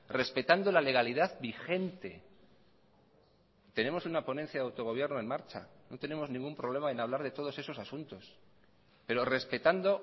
respetando la legalidad vigente tenemos una ponencia de autogobierno en marcha no tenemos ningún problema en hablar de todos esos asuntos pero respetando